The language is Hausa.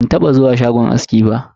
Ban taba zuwa shagon aski ba.